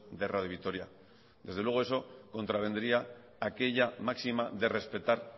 de radio vitoria desde luego eso contravendría aquella máxima de respetar